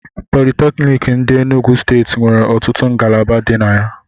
Politékiniki ndi Enugwu steeti nwere ọtụtụ ngalaba di na ya